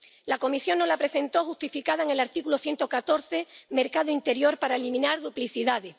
La Comisión nos la presentó justificada en el artículo 114 del TFUE —mercado interior para eliminar duplicidades—.